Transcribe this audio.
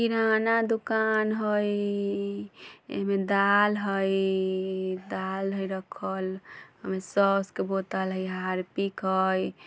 किराना दुकान हई एमे दाल है दाल हय रखल एमे सॉस के बोतल हय हारपिक हय।